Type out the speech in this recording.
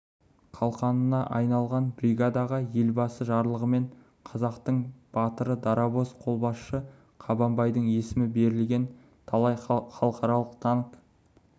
қалқанына айналған бригадаға елбасы жарлығымен қазақтың батыры дарабоз қолбасшы қабанбайдың есімі берілген талай халықаралық танк